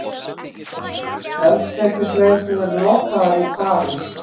Eldsneytisleiðslur lokaðar í París